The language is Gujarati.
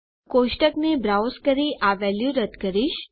કોષ્ટકને બ્રાઉઝ કરી આ વેલ્યુ રદ્દ કરીશ